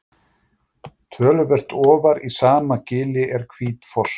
töluvert ofar í sama gili er hvítfoss